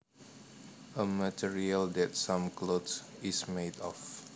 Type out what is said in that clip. A material that some cloth is made of